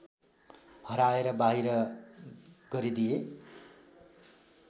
हराएर बाहिर गरिदिए